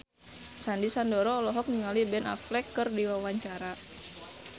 Sandy Sandoro olohok ningali Ben Affleck keur diwawancara